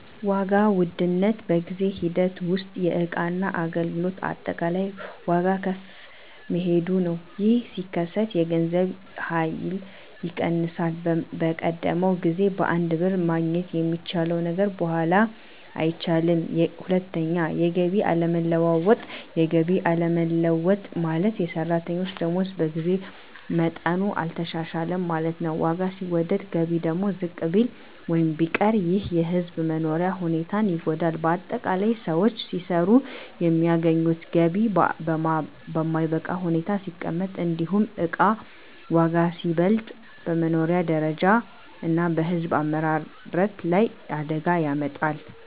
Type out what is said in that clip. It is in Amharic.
1. ዋጋ ውድነት በጊዜ ሂደት ውስጥ የእቃና አገልግሎት አጠቃላይ ዋጋ ከፍ መሄዱ ነው። ይህ ሲከሰት የገንዘብ ኃይል ይቀንሳል፤ በቀደመው ጊዜ በአንድ ብር ማግኘት የሚቻለው ነገር በኋላ አይቻልም። 2. የገቢ አለመለወጥ የገቢ አለመለወጥ ማለት፣ የሰራተኞች ደመወዝ በጊዜ መጠኑ አልተሻሻለም ማለት ነው። ዋጋ ሲወደድ ገቢ ደግሞ ዝቅ ቢል ወይም ቢቀር ይህ የሕዝብ መኖሪያ ሁኔታን ይጎዳል። ✅ በአጠቃላይ: ሰዎች ሲሰሩ የሚያገኙት ገቢ በማይበቃ ሁኔታ ሲቀመጥ፣ እንዲሁም እቃ ዋጋ ሲበልጥ፣ በመኖሪያ ደረጃ እና በሕዝብ አመራረት ላይ አደጋ ያመጣል።